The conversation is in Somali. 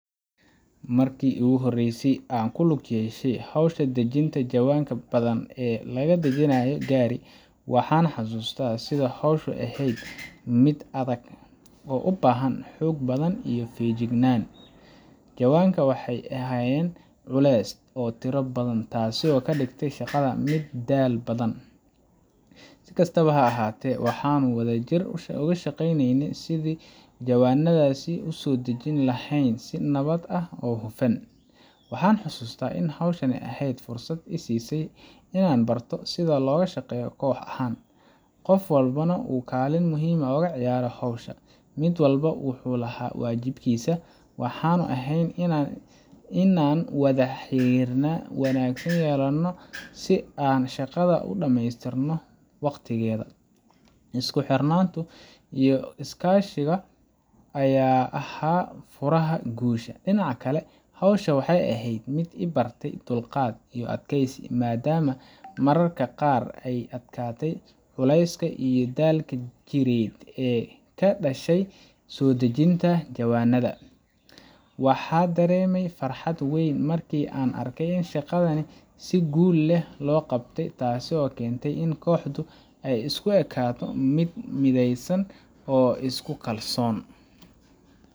Markii aan markii ugu horreysay ku lug yeeshay hawsha ah soo dejinta jawanada badan ee laga soo dejinayo gaari, waxaan xasuustaa sida ay hawshu ahayd mid aad u adag oo u baahan xoog badan iyo feejignaan. jawanada waxay ahaayeen culus oo tiro badan, taasoo ka dhigtay shaqada mid daal badan. Si kastaba ha ahaatee, waxaannu si wadajir ah uga shaqeynaynay sidii aan jawanadasi u soo dejin lahayn si nabad ah oo hufan. Waxaan xusuustaa in hawshan ay ahayd fursad ii siisay inaan barto sida loo shaqeeyo koox ahaan, qof walbana uu kaalin muhiim ah ka ciyaaray hawsha. Mid walba wuxuu lahaa waajibaadkiisa, waxaana ahayd inaan wada xiriir wanaagsan yeelano si aan shaqada u dhamaystirno waqtigeeda. Isku xirnaantu iyo is kaashiga ayaa ahaa furaha guusha. Dhinaca kale, hawshu waxay ahayd mid i bartey dulqaad iyo adkaysi, maadaama mararka qaar ay adkaatay culayska iyo daalka jireed ee ka dhashay soo dejinta jawanada . Waxaan dareemay farxad weyn markii aan arkay in shaqadii si guul leh loo qabtay, taasoo keentay in kooxdu ay isu ekaato mid midaysan oo isku kalsoon.